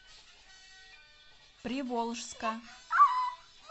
приволжска